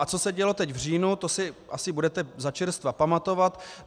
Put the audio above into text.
A co se dělo teď v říjnu, to si asi budete začerstva pamatovat.